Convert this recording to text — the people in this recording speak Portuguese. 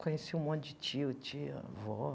Conheci um monte de tio, tia, avó.